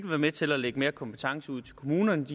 være med til at lægge mere kompetence ud til kommunerne